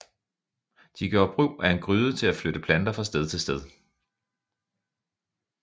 De gjorde brug af en gryde til at flytte planter fra sted til sted